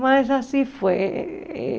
Mas assim foi. Eh eh